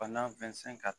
Bana ka